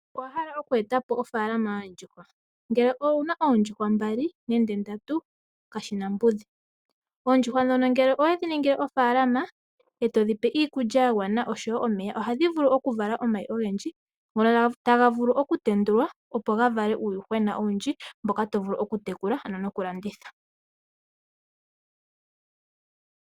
Owa hala oku eta po ofaalama yoondjuhwa? Ngele owu na oondjuhwa mbali nenge ndatu kashi na mbudhi. Oondjuhwa ndhono ngele owe dhi ningile ofaalama e to dhi pe iikulya ya gwana osho wo omeya ohadhi vulu okuvala omayi ogendji ngono taga vulu okutendulwa, opo ga vale uuyuhwena owundji mboka to vulu okutekula ano nokulanditha.